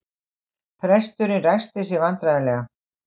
Presturinn ræskti sig vandræðalega.